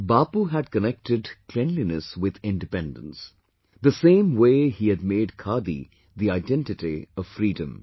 Bapu had connected cleanliness with independence; the same way he had made khadi the identity of freedom